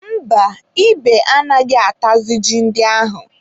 Mba, ebe anaghị atazị ji ndị ahụ.